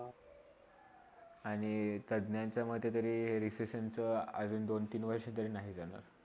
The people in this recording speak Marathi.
आणि तज्ञ्च्ग्या च्या मधी तरी RECESSION नचा अजून दोन - तीन वर्ष तर ते नाही जाणार.